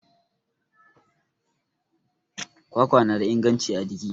kwakwa na da inganci a jiki